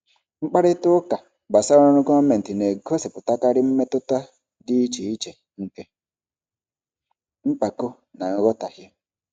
Mkparịta ụka gbasara ọrụ gọọmentị na-egosipụtakarị mmetụta dị iche iche nke mpako na nghọtahie.